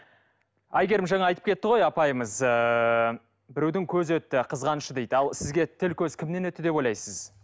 әйгерім жаңа айтып кетті ғой апайымыз ыыы біреудің көзі өтті қызғанышы дейді ал сізге тіл көз кімнен өтті деп ойлайсыз